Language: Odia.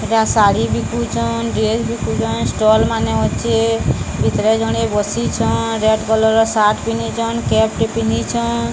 ଏଟା ଶାଢ଼ୀ ବିକୁଛନ୍। ଡ୍ରେସ୍ ବିକୁଛନ୍। ଷ୍ଟଲ୍ ମାନେ ଅଛେ। ଭିତରେ ଜଣେ ବସିଛନ୍। ରେଡ୍ କଲର୍ ର ସାର୍ଟ ପିନ୍ଧିଛନ୍। କେପ୍ ଟେ ପିନ୍ଧିଛନ୍।